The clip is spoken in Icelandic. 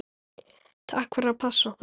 Takk fyrir að passa okkur.